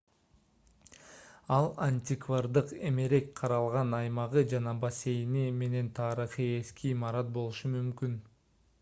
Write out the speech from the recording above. ал антиквардык эмерек каралган аймагы жана бассейни менен тарыхый эски имарат болушу мүмкүн